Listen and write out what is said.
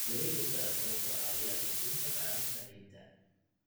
Wareegga dalagga wuxuu caawiyaa kordhinta bacrinta ciidda.